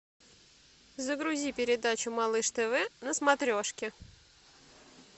загрузи передачу малыш тв на смотрешке